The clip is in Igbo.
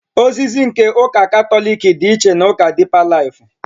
Ozizi nke ụka Katọlik dị iche na ụka dịpa laifụ.